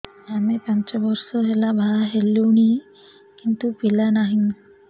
ଆମେ ପାଞ୍ଚ ବର୍ଷ ହେଲା ବାହା ହେଲୁଣି କିନ୍ତୁ ପିଲା ନାହିଁ